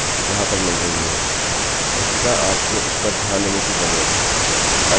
वस्तुतः आपको इस पर ध्यान देने की ज़रूरत है अल्पविराम या फिर अर्धविराम अपेक्षित है